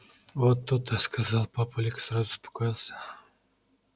вот то-то сказал папулик и сразу успокоился